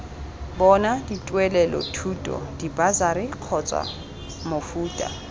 bona dituelelothuto dibasari kgotsa mofuta